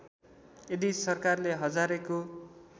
यदि सरकारले हजारेको